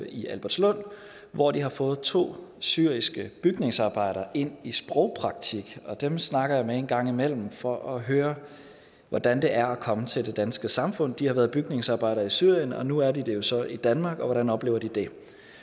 i albertslund hvor de har fået to syriske bygningsarbejdere ind i sprogpraktik dem snakker jeg med en gang imellem for at høre hvordan det er at komme til det danske samfund de har været bygningsarbejdere i syrien og nu er de det jo så i danmark og hvordan oplever de det